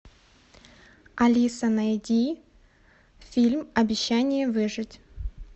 алиса найди фильм обещание выжить